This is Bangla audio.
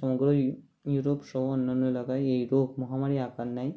সমগ্ৰ ইউরোপ সহ অন্যান্য এলাকায় এই রোগ মহামারী আকার নেয়